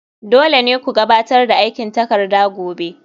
Dole ne ku gabatar da aikin takarda gobe